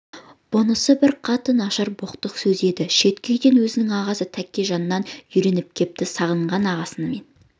бұнысы бір қатты нашар боқтық сөз еді шеткі үйде өзінің ағасы тәкежаннан үйреніп кепті сағынған ағасымен